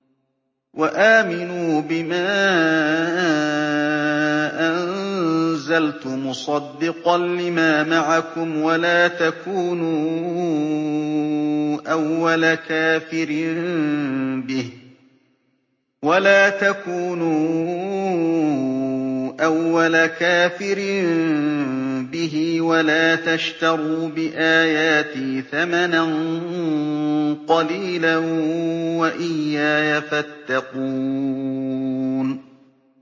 وَآمِنُوا بِمَا أَنزَلْتُ مُصَدِّقًا لِّمَا مَعَكُمْ وَلَا تَكُونُوا أَوَّلَ كَافِرٍ بِهِ ۖ وَلَا تَشْتَرُوا بِآيَاتِي ثَمَنًا قَلِيلًا وَإِيَّايَ فَاتَّقُونِ